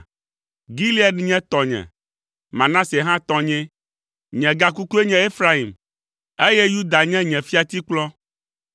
Gilead nye tɔnye, Manase hã tɔnyee. Nye gakukue nye Efraim, eye Yuda nye nye fiatikplɔ.